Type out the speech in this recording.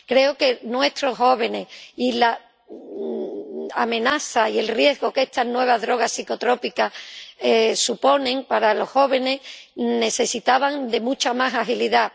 Creo que nuestros jóvenes y la amenaza y el riesgo que estas nuevas drogas psicotrópicas suponen para los jóvenes necesitaban mucha más agilidad.